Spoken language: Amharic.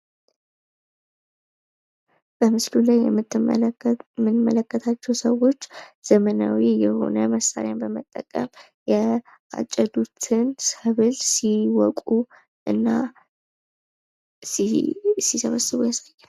በምስሉ ላይ የምንመለከታቸው ሰዎችን ዘመናዊ መሳሪያን በመጠቀም ያጨዱትን ሰብል ሲወቁ እና ሲሰበስቡ ያሳያል።